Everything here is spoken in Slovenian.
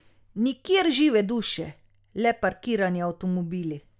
Nikjer žive duše, le parkirani avtomobili.